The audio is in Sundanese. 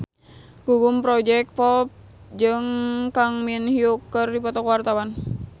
Gugum Project Pop jeung Kang Min Hyuk keur dipoto ku wartawan